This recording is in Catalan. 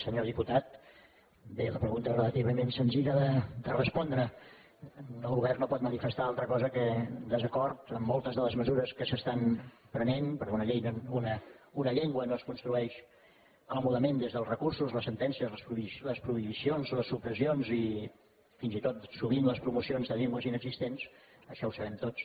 senyor diputat bé la pregunta és relativament senzilla de respondre el govern no pot manifestar altra cosa que desacord amb moltes de les mesures que s’estan prenent perquè una llengua no es construeix còmodament des dels recursos les sentències les prohibicions les supressions i fins i tot sovint les promocions de llengües inexistents això ho sabem tots